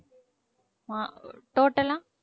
மா~ total ஆ